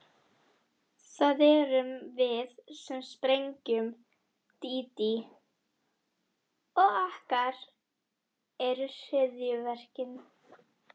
Það erum við sem sprengjum, Dídí, og okkar eru hryðjuverkin.